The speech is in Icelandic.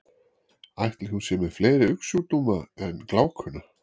Ætli hún sé með fleiri augnsjúkdóma en glákuna?